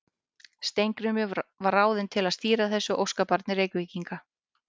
Steingrímur var ráðinn til að stýra þessu óskabarni Reykvíkinga.